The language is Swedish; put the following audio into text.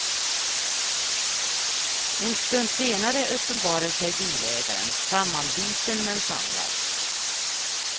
En stund senare uppenbarade sig bilägaren, sammanbiten men samlad.